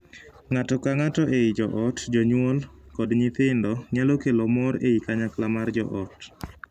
Ng’ato ka ng’ato ei joot, jonyuol kod nyithindo, nyalo kelo more i kanyakla mar joot.